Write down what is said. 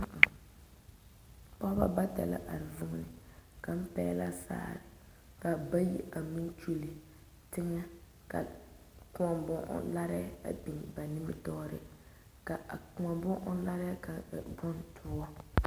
Pɔgeba bata la are vuune kaŋ pegle la sagre kaa bayi a meŋ kyɔle teŋa ka kõɔ bon ɔŋ laare a biŋ ba nimitɔɔre ka a kõɔ bon ɔŋ laare kaŋ a e bondoɔ.